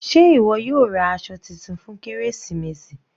Sé ìwọ yóò ra aṣọ titun fún kérésìmesì?